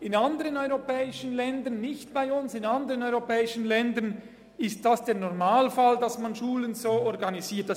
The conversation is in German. In anderen europäischen Ländern – nicht bei uns – ist es der Normalfall, dass Schulen so organisiert sind.